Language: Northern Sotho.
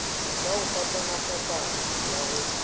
ya go fapafapana ya go